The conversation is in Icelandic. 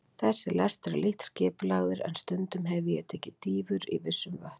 Þessi lestur er lítt skipulagður, en stundum hefi ég tekið dýfur í vissum vötnum.